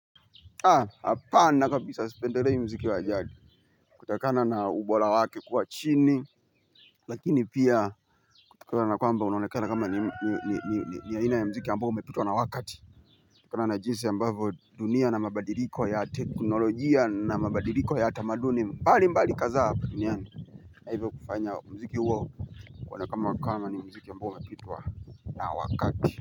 Aah hapana kabisaa sipendelei muziki wajadi kutokana na ubora wake kuwa chini lakini pia kutokana nakwamba unaonekana kama ni aina ya muziki ambao umepitwa na wakati kutokana na jinsi ambavyo dunia na mabadiliko yat eknolojia na mabadiliko ya tamaduni mbalimbali kadhaa hapa duniani na hivyo kufanya muziki huo uonekane kama ni muziki ambao umepitwa na wakati.